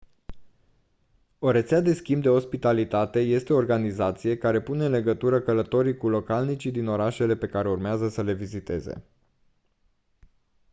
o rețea de schimb de ospitalitate este o organizație care pune în legătură călătorii cu localnicii din orașele pe care urmează să le viziteze